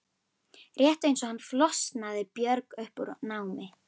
Rétt eins og hann flosnaði Björg upp úr námi.